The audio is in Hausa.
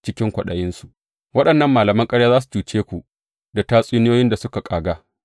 Cikin kwaɗayinsu waɗannan malaman ƙarya za su cuce ku da tatsuniyoyin da suka ƙaga.